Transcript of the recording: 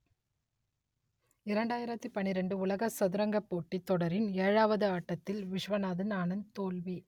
இரண்டாயிரத்தி பன்னிரண்டு உலக சதுரங்கப் போட்டித் தொடரின் ஏழாவது ஆட்டத்தில் விஷ்வநாதன் ஆனந்த் தோல்வி